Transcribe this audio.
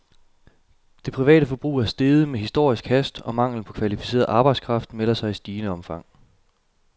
Det private forbrug er steget med historisk hast, og manglen på kvalificeret arbejdskraft melder sig i stigende omfang.